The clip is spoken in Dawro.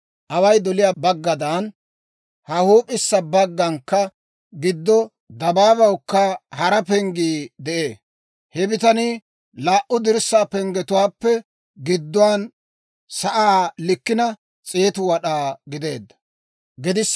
Away doliyaa baggaadan, ha huup'issa baggankka giddo dabaabawukka hara penggii de'ee. He bitanii ha laa"u dirssaa penggetuwaappe gidduwaan sa'aa likkina 100 wad'aa gideedda.